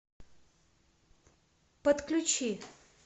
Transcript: подключи